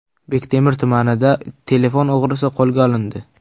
Bektemir tumanida telefon o‘g‘risi qo‘lga olindi.